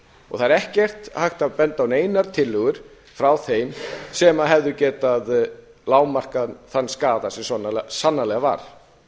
og það er ekki hægt að benda á neinar tillögur frá þeim sem hefðu getað lágmarkað þann skaða sem sannarlega var